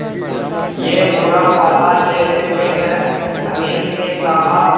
ये भूरा वाला ले लेते हैं अनिल ने कहा